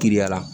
Kiriya la